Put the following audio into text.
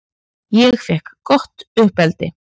Ég fékk gott uppeldi.